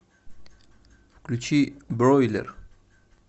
включи бройлер